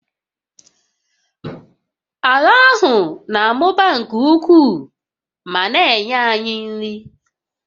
Ala ahụ na-amụba nke ukwuu ma na-enye anyị nri